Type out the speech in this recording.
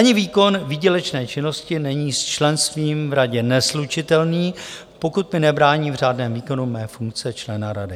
Ani výkon výdělečné činnosti není s členstvím v radě neslučitelný, pokud mi nebrání v řádném výkonu mé funkce člena rady.